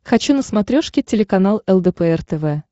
хочу на смотрешке телеканал лдпр тв